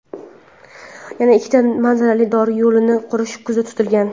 yana ikkita manzarali dor yo‘lini qurish ko‘zda tutilgan.